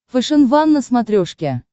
фэшен ван на смотрешке